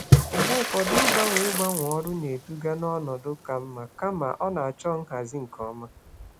Mgbe ụfọdụ, ịgbanwe ọrụ na-eduga n'ọnọdụ ka mma, mana ọ chọrọ nhazi nke ọma.